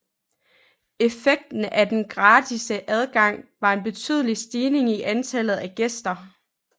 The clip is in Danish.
Effekten af den gratis adgang var en betydelig stigning i antallet af gæster